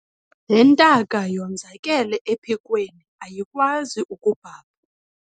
Le ntaka yenzakele ephikweni ayikwazi kubhabha.